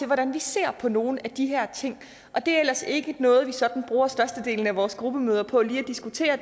hvordan vi ser på nogle af de her ting det er ellers ikke noget vi sådan bruger størstedelen af vores gruppemøder på lige at diskutere